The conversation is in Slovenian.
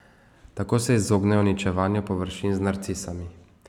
Tako se izognejo uničevanju površin z narcisami.